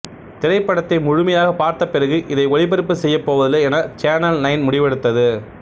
திரைப்படத்தை முழுமையாக பார்த்தபிறகு இதை ஒளிபரப்பு செய்யப்போவதில்லை என சேனல் நைன் முடிவெடுத்தது